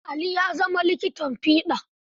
Ali ya zama likitan fiɗa.